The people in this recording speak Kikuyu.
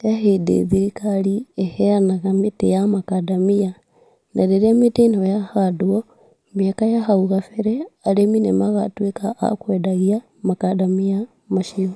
he hĩndĩ thirikari ĩheanaga mĩtĩ ya makandamia , na rĩrĩa mĩtĩ ĩno yahandwo, mĩaka ya hau gambere, arĩmi nĩmagatwĩka akwendagia makandamia macio.